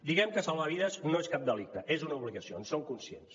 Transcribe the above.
diguem ne que salvar vides no és cap delicte és una obligació en som conscients